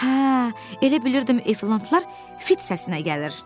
Hə, elə bilirdim efantlar fit səsinə gəlir.